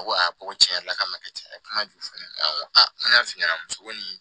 Ko ko tiɲɛ yɛrɛ la k'a ma ka caya kuma jumɛn ko a n y'a f'i ɲɛna muso ko nin